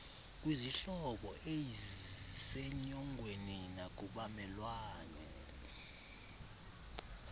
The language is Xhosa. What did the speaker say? kwizihlobo eizsenyongweni nakubamelwane